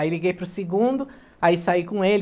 Aí liguei para o segundo, aí saí com ele.